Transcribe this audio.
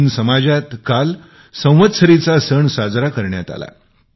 जैन समाजात काल संवत्सरीचा सण साजरा करण्यात आला